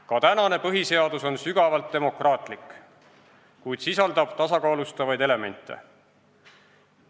Ka praegune põhiseadus on sügavalt demokraatlik, kuid sisaldab tasakaalustavaid elemente.